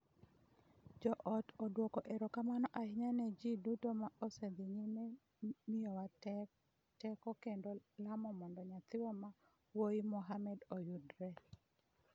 "...Jo-ot odwoko erokamano ahinya ne ji duto ma osedhi nyime miyowa teko kendo lamo mondo nyathiwa ma wuoyi Mohammed oyudre.